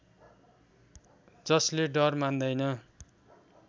जसले डर मान्दैन